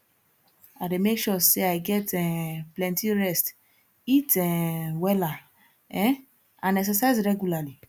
i dey make sure say i get um plenty rest eat um wella um and exercise regularly